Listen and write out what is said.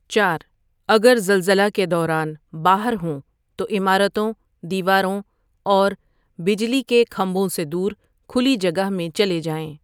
چار اگر زلزلہ کے دوران باہر ہوں توعمارتوں ، دیواروں اور بجلی کے کھمبوں سے دور کھلی جگہ میں چلے جائیں ۔